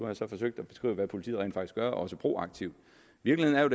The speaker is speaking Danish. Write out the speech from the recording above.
jeg så forsøgt at beskrive hvad politiet rent faktisk gør også proaktivt virkeligheden er